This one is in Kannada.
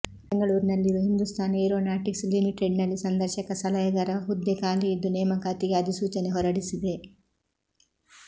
ಬೆಂಗಳೂರಿನಲ್ಲಿರುವ ಹಿಂದೂಸ್ತಾನ್ ಏರೋನಾಟಿಕ್ಸ್ ಲಿಮಿಟೆಡ್ನಲ್ಲಿ ಸಂದರ್ಶಕ ಸಲಹೆಗಾರ ಹುದ್ದೆ ಖಾಲಿ ಇದ್ದು ನೇಮಕಾತಿಗೆ ಅಧಿಸೂಚನೆ ಹೊರಡಿಸಿದೆ